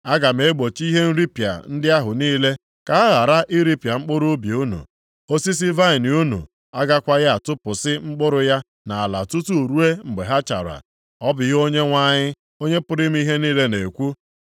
“Aga m egbochi ihe nripịa ndị ahụ niile ka ha ghara iripịa mkpụrụ ubi unu. Osisi vaịnị unu agakwaghị atụpụsị mkpụrụ ya nʼala tutu ruo mgbe ha chara.” Ọ bụ ihe Onyenwe anyị, Onye pụrụ ime ihe niile na-ekwu.